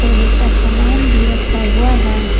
लोहे का सामान भी रखा हुआ है।